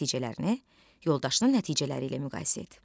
Nəticələrini yoldaşının nəticələri ilə müqayisə et.